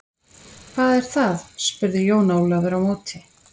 Hvað er það spurði Jón Ólafur á móti.